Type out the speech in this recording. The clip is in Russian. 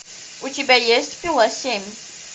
у тебя есть пила семь